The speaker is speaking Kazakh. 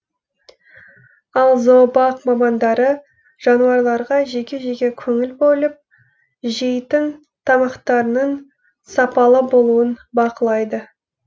ал зообақ мамандары жануарларға жеке жеке көңіл бөліп жейтін тамақтарының сапалы болуын бақылайды